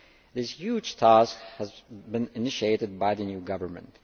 This huge task has been initiated by the new government.